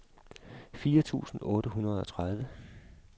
fire tusind otte hundrede og tredive